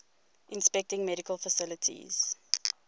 inspecting medical facilities